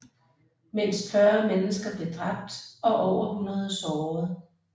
Mindst 40 mennesker blev dræbt og over 100 såret